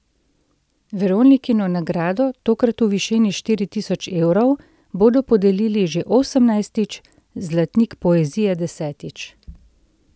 Veronikino nagrado, tokrat v višini štiri tisoč evrov, bodo podelili že osemnajstič, zlatnik poezije desetič.